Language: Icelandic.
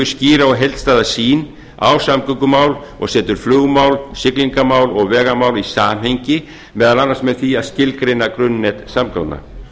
skýra og heildstæða sýn á samgöngumál og setur flugmál siglingamál og vegamál í samhengi meðal annars með því að skilgreina grunnnet samgangna